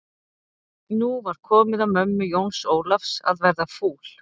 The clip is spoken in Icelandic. Nú var komið að mömmu Jóns Ólafs að verða fúl.